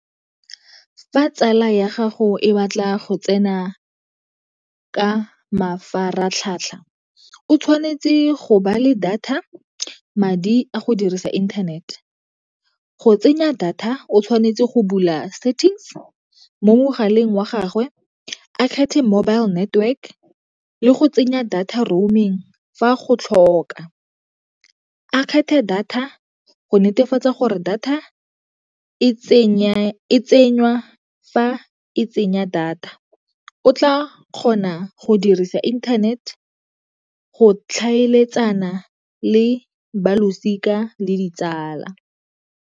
Fa tsala ya gago e batla go tsena ka mafaratlhatlha o tshwanetse go ba le data, madi a go dirisa internet. Go tsenya data o tshwanetse go bula settings mo mogaleng wa gagwe, a kgethe mobile network le go tsenya data roaming fa go tlhoka. A kgethe data go netefatsa gore data e tsenywa fa e tsenya data o tla kgona go dirisa internet, go tlhaeletsana le balosika le ditsala.